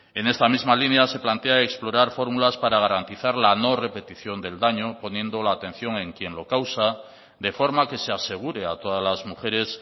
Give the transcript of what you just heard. en esta misma línea se plantea explorar fórmulas para garantizar la no repetición del daño poniendo la atención en quien lo causa de forma que se asegure a todas las mujeres